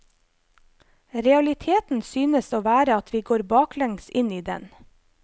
Realiteten synes å være at vi går baklengs inn i den.